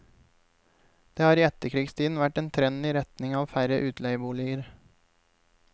Det har i etterkrigstiden vært en trend i retning av færre utleieboliger.